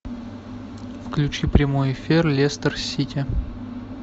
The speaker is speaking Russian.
включи прямой эфир лестер сити